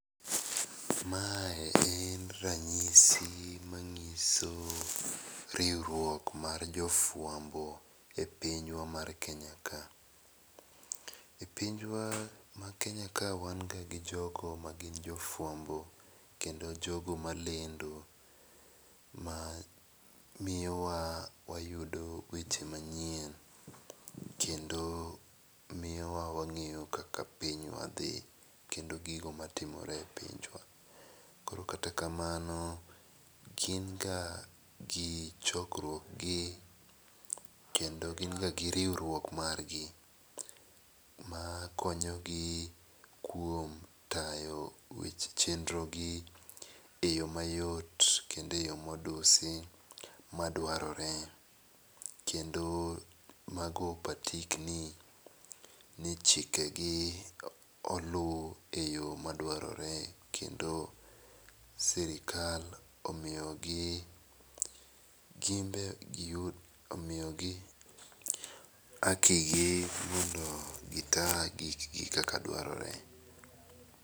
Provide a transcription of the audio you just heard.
Mae en ranyisi ma ng'iso riwruok mar jo fwambo e piny wa mar Kenya ka. E piny kenya ka wan ga gi jofwambo kendo jogo ma lendo ma miyo wa wayudo weche manyien kendo miyo wa wa ng'eyo kaka pinywa dhi kendo gigo ma timore e pinj wa. Koro kata kamano gin ga gi chokruok gi kendo gin ga gi riwruok mar gi ma konyo gi kuom tayo weche chenro gi e yo ma yot kendo e yo ma odusi ma dwarore. Kendo mago patik ni chike gi oluu e yo ma dwarore kendo sirkal omiyo gi gin be gi yud omiyo gi haki gi mondo gi taa gik gi kaka dwarore.